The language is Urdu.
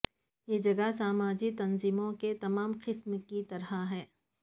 یہ جگہ سماجی تنظیموں کے تمام قسم کے کی طرح ہے